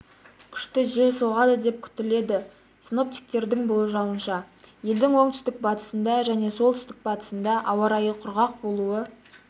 күшті жел соғады деп күтіледі синоптиктердің болжауынша елдің оңтүстік-батысында және солтүстік-батысында ауа райы құрғақ болуы